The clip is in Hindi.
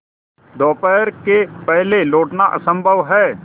दोपहर के पहले लौटना असंभव है